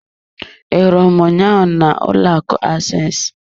I hụrụ m ụnyaahụ na ụlọ akụ access.